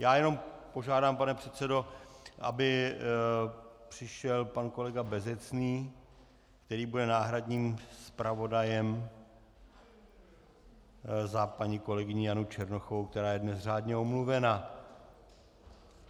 Já jenom požádám, pane předsedo, aby přišel pan kolega Bezecný, který bude náhradním zpravodajem za paní kolegyni Janu Černochovou, která je dnes řádně omluvena.